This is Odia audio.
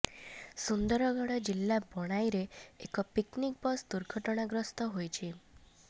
ସୁନ୍ଦରଗଡ଼ ଜିଲ୍ଲା ବଣାଇରେ ଏକ ପିକନିକ୍ ବସ୍ ଦୁର୍ଘଟଣାଗ୍ରସ୍ତ ହୋଇଛି